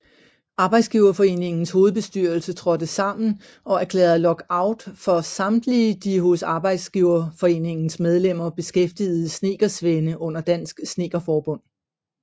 Arbejdsgiverforeningens hovedbestyrelse trådte sammen og erklærede lockout for samtlige de hos Arbejdsgiverforeningens medlemmer beskæftigede snedkersvende under Dansk Snedkerforbund